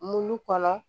Mulu kɔnɔ